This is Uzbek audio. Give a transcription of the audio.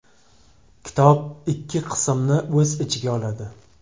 Kitob ikki qismni o‘z ichiga oladi.